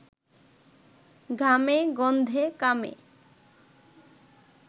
ঘামে গন্ধে, কামে